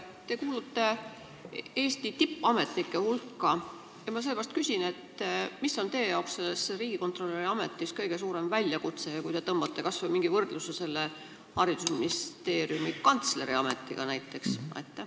Te kuulute Eesti tippametnike hulka, sellepärast küsin nii: mis on teie jaoks riigikontrolöri ametis kõige suurem väljakutse, kui te tõmbate kas või mingi võrdluse haridusministeeriumi kantsleri ametiga?